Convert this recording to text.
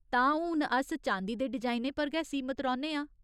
तां, हून अस चांदी दे डिजाइनें पर गै सीमत रौह्‌न्ने आं।